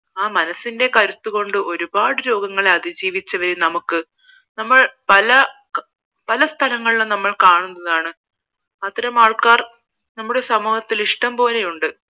ആ മനസ്സിന്റെ കരുത്ത് കൊണ്ട് ഒരുപാട് രോഗത്തെ അധിജീവിച്ചവരെ നമുക്ക് നമ്മൾ പല പല സ്ഥലങ്ങളിലും കാണുന്നതാണ് അത്തരം ആൾക്കാർ നമ്മുടെ സമൂഹത്തിൽ ഇഷ്ടം പോലെയുണ്ട്